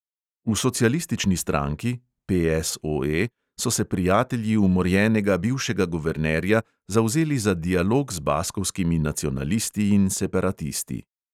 V socialistični stranki so se prijatelji umorjenega bivšega guvernerja zavzeli za dialog z baskovskimi nacionalisti in separatisti.